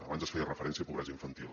abans es feia referència a pobresa infantil